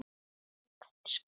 En kannski ekki.